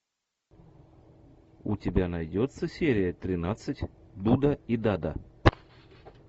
у тебя найдется серия тринадцать дуда и дада